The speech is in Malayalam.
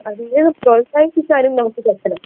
അതിനെ പ്രോത്സാഹിപ്പിക്കാനും നമുക്ക് പറ്റണം